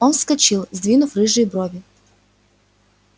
он вскочил сдвинув рыжие брови